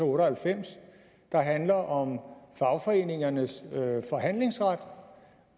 otte og halvfems der handler om fagforeningernes forhandlingsret